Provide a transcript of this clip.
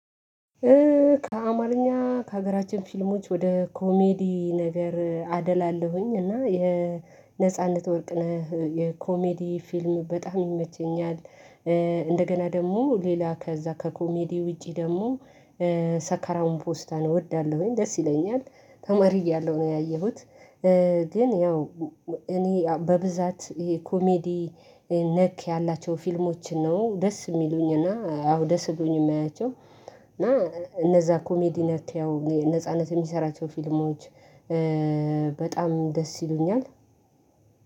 ከአማርኛ ከሀገራችን ፊልሞች ወደ ኮሜዲ ነገር አደላለሁኝ እና የነጻነት ወርቅ ነህ የኮሜዲ ፊልም በጣም ይመቸኛል፣ እንደገና ደግሞ ሌላ ከዛ ከኮሜዲ ውጪ ደግሞ ሰካራሙ ፖስታ እወዳለሁኝ ደስ ይለኛል ተማሪ እያለሁ ነው ያየሁት ግን ያው እኔ በብዛት ይሄ ኮሜዲ ነክ ያላቸው ፊልሞች ነው ደስ የሚሉኝና አዎ ደስ ብሎኝ የማያቸው እና እነዛ ኮሜዲ ነክ ነጻነት የሚሰራቸው ፊልማዎች በጣም ደስ ይሉኛል።